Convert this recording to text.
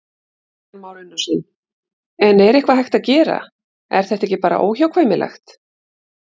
Kristján Már Unnarsson: En er eitthvað hægt að gera, er þetta ekki bara óhjákvæmilegt?